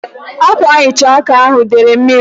Ákwànhicha áká ahu dere mmiri.